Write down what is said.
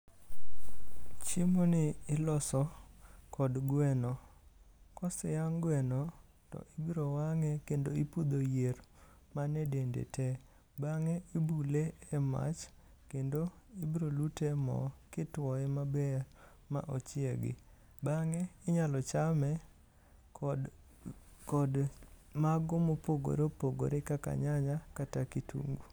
Chiemoni iloso kod gweno. Koseyang' gweno to ibiro wang'e kendo ipudho yier man edende te. Bang' ibule e mach kendo ibiro lute e mo, kituoye maber ma ochiegi. Bang'e inyalo chame kod kod mago mopogore opogore kaka nyanya kata kitungu.